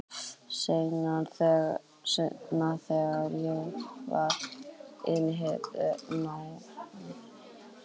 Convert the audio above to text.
Seinna þegar ég var yfirheyrð nánar um ávísanafalsanirnar var aldrei minnst á þessa ávísun.